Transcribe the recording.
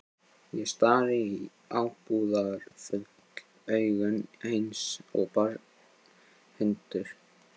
Ég stari í ábúðarfull augun eins og barinn hundur.